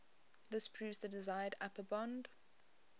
this proves the desired upper bound